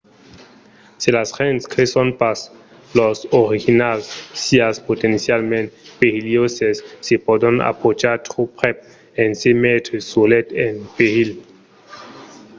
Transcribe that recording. se las gents creson pas los orinhals sián potencialament perilhoses se pòdon aprochar tròp prèp e se metre solets en perilh